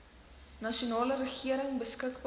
nasionale regering beskikbaar